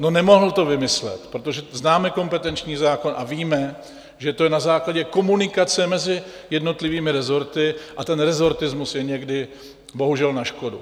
No, nemohl to vymyslet, protože známe kompetenční zákon a víme, že to je na základě komunikace mezi jednotlivými rezorty a ten rezortismus je někdy bohužel na škodu.